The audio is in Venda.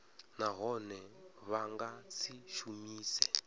nahone vha nga si shumise